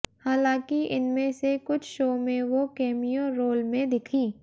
हालांकि इनमें से कुछ शो में वो कैमियो रोल में दिखीं